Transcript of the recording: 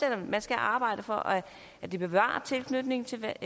at man skal arbejde for at det bevarer tilknytningen til